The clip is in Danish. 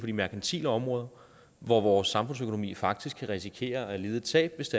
de merkantile områder og vores samfundsøkonomi kan faktisk risikere at lide et tab hvis